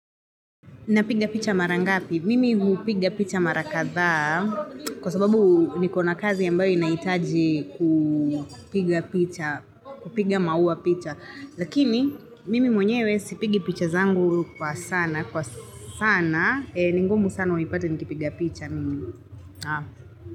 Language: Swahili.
Napiga picha marangapi? Mimi hupiga picha mara kathaa kwa sababu niko na kazi ambayo inahitaji kupiga picha, kupiga maua picha. Lakini, mimi mwenyewe sipigi picha zangu kwa sana, kwa sana, ningumu sana unipate nikipiga picha mimi.